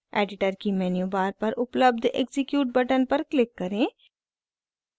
editor की menu bar पर उपलब्ध execute बटन पर क्लिक करें